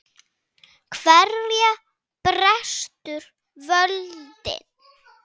Hverja brestur völdin?